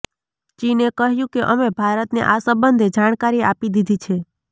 ચીને કહ્યું કે અમે ભારતને આ સંબંધે જાણકારી આપી દીધી છે